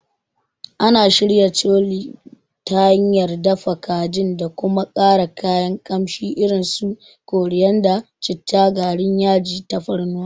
Ana shirya Chole ta hanyar dafa kajin da kuma ƙara kayan kamshi irin su koriyanda, citta, garin yaji, tafarnuwa.